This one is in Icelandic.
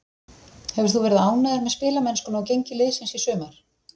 Hefur þú verið ánægður með spilamennskuna og gengi liðsins í sumar?